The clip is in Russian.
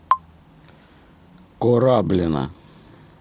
кораблино